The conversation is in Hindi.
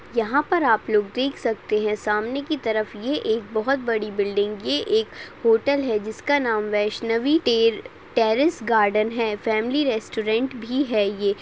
यहा पर आप लोग देख सकते है। सामने की तरफ ये एक बहुत बड़ी बिल्डिंग ये एक होटल है। जिसका नाम वैष्णवी तेल टेरस गार्डन है। फॅमिली रैस्टौरंट भी है ये।